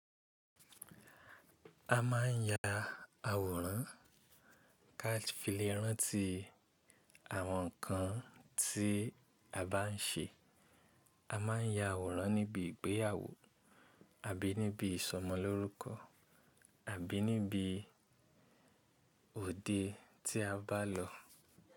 A má ń ya àwòrán ká filé rántí àwọn ǹkan tí a bá ń ṣe. A má ń ya àwòrán níbi ìgbéyàwó àbí níbi ìsọmọlórúkọ àbí níbi òde tí a bá lọ.